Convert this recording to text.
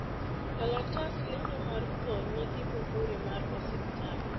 kalatas lendo mar tho nigi muhuri mar osiptal